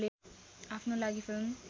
आफ्नो लागि फिल्म